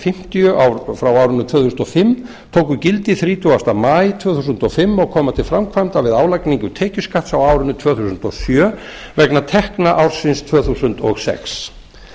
fimmtíu tvö þúsund og fimm tóku gildi þrjátíu maí tvö þúsund og fimm og koma til framkvæmda við álagningu tekjuskatts á árinu tvö þúsund og sjö vegna tekna ársins tvö þúsund og sex